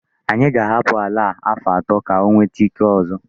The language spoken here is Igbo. Anyị ga-ahapụ àlà a afọ atọ ka ọ nwete ike ọzọ.